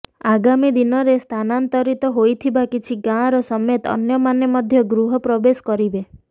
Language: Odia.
ଆଗାମୀ ଦିନରେ ସ୍ଥାନାନ୍ତରିତ ହୋଇଥିବା କିଛି ଗାଁର ସମେତ ଅନ୍ୟ ମାନେ ମଧ୍ୟ ଗୃହ ପ୍ରବେଶ କରିବେ